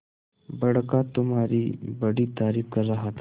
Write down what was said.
बड़का तुम्हारी बड़ी तारीफ कर रहा था